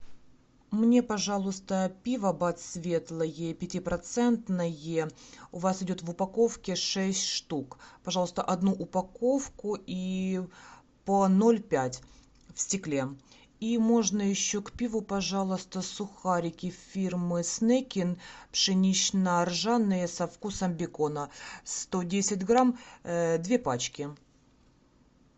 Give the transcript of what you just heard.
мне пожалуйста пиво бад светлое пятипроцентное у вас идет в упаковке шесть штук пожалуйста одну упаковку и по ноль пять в стекле и можно еще к пиву пожалуйста сухарики фирмы снекин пшенично ржаные со вкусом бекона сто десять грамм две пачки